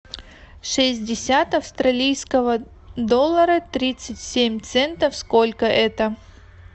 шестьдесят австралийского доллара тридцать семь центов сколько это